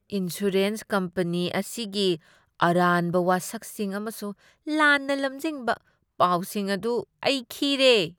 Insurance company ꯑꯁꯤꯒꯤ ꯑꯔꯥꯟꯕ ꯋꯥꯁꯛꯁꯤꯡ ꯑꯃꯁꯨꯡ ꯂꯥꯟꯅ ꯂꯝꯖꯤꯡꯕ ꯄꯥꯎꯁꯤꯡ ꯑꯗꯨ ꯑꯩ ꯈꯤꯔꯦ꯫